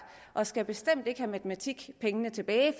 og skal bestemt ikke have matematikpengene tilbage